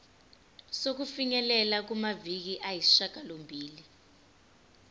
sokufinyelela kumaviki ayisishagalombili